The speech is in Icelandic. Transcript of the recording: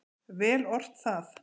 Vel ort það.